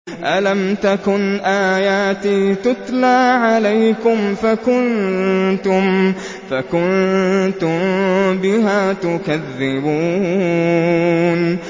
أَلَمْ تَكُنْ آيَاتِي تُتْلَىٰ عَلَيْكُمْ فَكُنتُم بِهَا تُكَذِّبُونَ